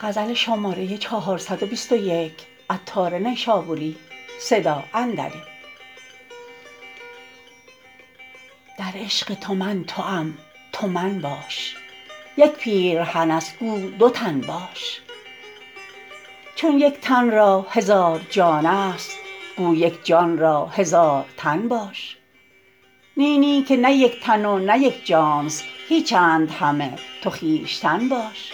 در عشق تو من توام تو من باش یک پیرهن است گو دو تن باش چون یک تن را هزار جان است گو یک جان را هزار تن باش نی نی که نه یک تن و نه یک جانست هیچند همه تو خویشتن باش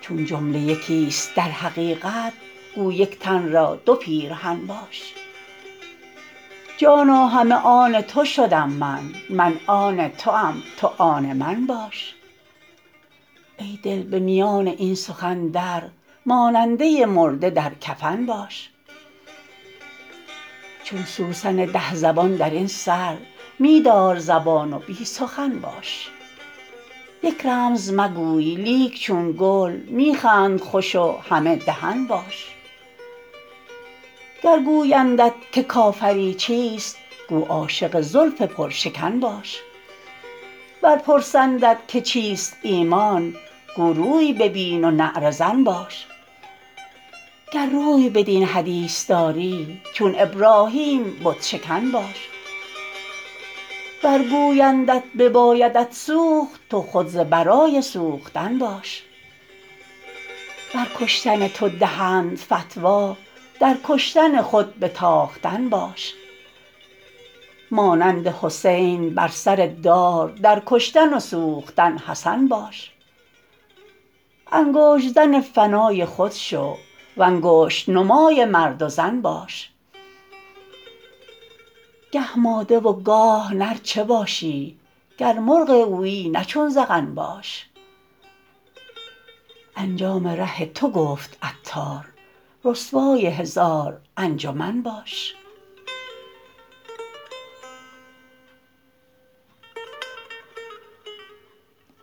چون جمله یکی است در حقیقت گو یک تن را دو پیرهن باش جانا همه آن تو شدم من من آن توام تو آن من باش ای دل به میان این سخن در ماننده مرده در کفن باش چون سوسن ده زبان درین سر می دار زبان و بی سخن باش یک رمز مگوی لیک چون گل می خند خوش و همه دهن باش گر گویندت که کافری چیست گو عاشق زلف پر شکن باش ور پرسندت که چیست ایمان گو روی ببین و نعره زن باش گر روی بدین حدیث داری چون ابراهیم بت شکن باش ور گویندت ببایدت سوخت تو خود ز برای سوختن باش ور کشتن تو دهند فتوی در کشتن خود به تاختن باش مانند حسین بر سر دار در کشتن و سوختن حسن باش انگشت زن فنای خود شو وانگشت نمای مرد و زن باش گه ماده و گاه نر چه باشی گر مرغ ویی نه چون زغن باش انجام ره تو گفت عطار رسوای هزار انجمن باش